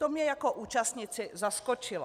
To mě jako účastníci zaskočilo.